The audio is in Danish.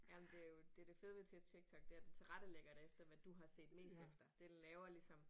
Jamen det jo det det fede ved TikTok det er at den tilrettelægger det efter hvad du har set mest efter. Den laver ligesom